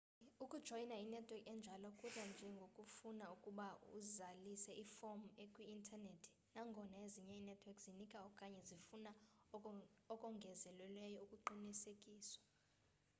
ukujoyina inetwork enjalo kudla nje ngokufuna ukuba uzalise iform ekwiinternethi nangona ezinye inetwork zinika okanye zifuna okongezelelweyo ukuqisekiswa